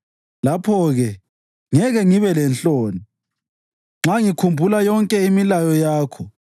Lapho-ke ngeke ngibe lenhloni nxa ngikhumbula yonke imilayo yakho.